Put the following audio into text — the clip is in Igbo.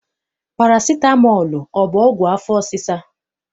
Parasitamọl ọ bụ ọgwụ afọ ọsịsa?